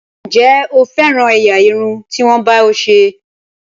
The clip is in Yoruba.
Ǹjẹ́ o féràn ẹ̀yà irun tí wọ́n bá ọ ṣe?